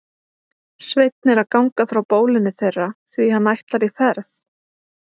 Sveinn er að ganga frá bólinu þeirra því hann ætlar í ferð.